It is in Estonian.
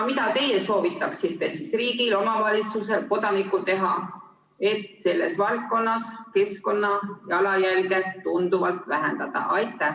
Mida teie soovitaksite riigil, omavalitsusel ja kodanikul teha, et selles valdkonnas keskkonnajalajälge tunduvalt vähendada?